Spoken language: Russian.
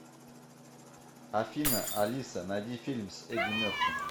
афина алиса найди фильм с эдди мерфи